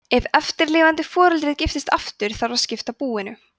ef eftirlifandi foreldrið giftist aftur þarf að skipta búinu